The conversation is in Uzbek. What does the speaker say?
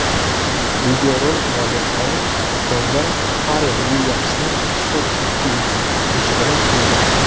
Videorolik mualliflari fonda Farel Uilyamsning mashhur Happy qo‘shig‘ini qo‘ygan.